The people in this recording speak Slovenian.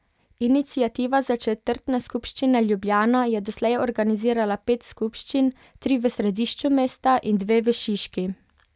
Iniciativa za četrtne skupščine Ljubljana je doslej organizirala pet skupščin, tri v središču mesta in dve v Šiški.